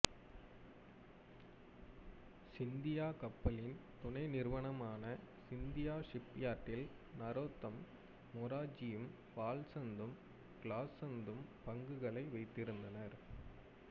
சிந்தியா கப்பலின் துணை நிறுவனமான சிந்தியா ஷிப்யார்ட்டில் நரோத்தம் மொராஜியும் வால்சந்த்தும் கிலாசந்தும் பங்குகளை வைத்திருந்தனர்